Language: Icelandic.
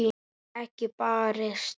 Ekki barist.